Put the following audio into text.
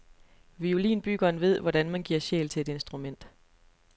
Violinbyggeren ved, hvordan man giver sjæl til et instrument.